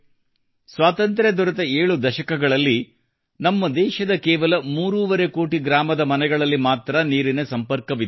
ಸ್ವಾತಂತ್ರ್ಯ ದೊರೆತ 7 ದಶಕಗಳಲ್ಲಿ ನಮ್ಮ ದೇಶದ ಕೇವಲ ಮೂರೂವರೆ ಕೋಟಿ ಗ್ರಾಮದ ಮನೆಗಳಲ್ಲಿ ಮಾತ್ರಾ ನೀರಿನ ಸಂಪರ್ಕವಿತ್ತು